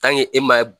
e ma